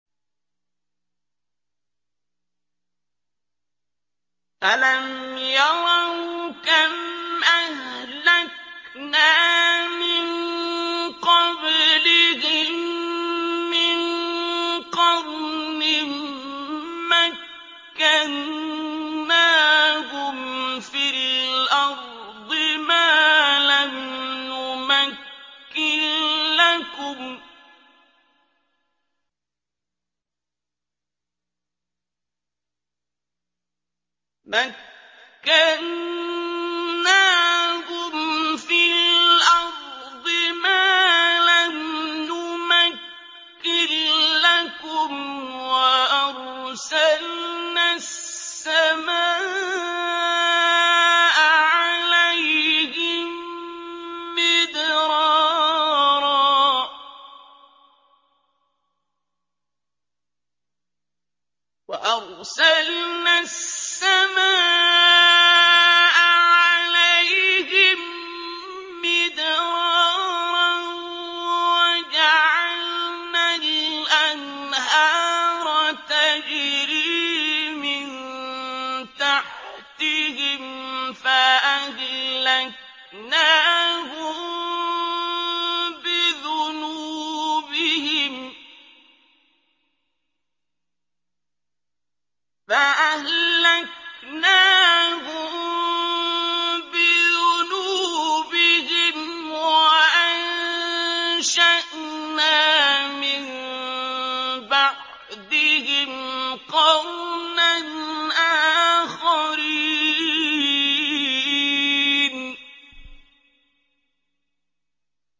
أَلَمْ يَرَوْا كَمْ أَهْلَكْنَا مِن قَبْلِهِم مِّن قَرْنٍ مَّكَّنَّاهُمْ فِي الْأَرْضِ مَا لَمْ نُمَكِّن لَّكُمْ وَأَرْسَلْنَا السَّمَاءَ عَلَيْهِم مِّدْرَارًا وَجَعَلْنَا الْأَنْهَارَ تَجْرِي مِن تَحْتِهِمْ فَأَهْلَكْنَاهُم بِذُنُوبِهِمْ وَأَنشَأْنَا مِن بَعْدِهِمْ قَرْنًا آخَرِينَ